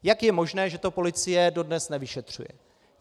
Jak je možné, že to policie dodnes nevyšetřuje?